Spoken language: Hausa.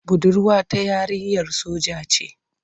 Budurwa ta yarinyar soja ce.